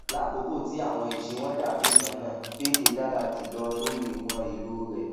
lákokò ti àwọn iṣé wọn dabi kanna payday dara julọ lori iwọn elo rẹ